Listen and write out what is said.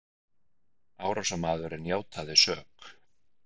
Árásarmaðurinn játaði sök